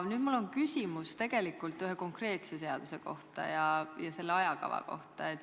Mul on küsimus ühe konkreetse seaduseelnõu ja sellega seotud ajakava kohta.